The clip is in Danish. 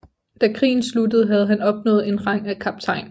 Da krigen sluttede havde han opnået en rang af kaptajn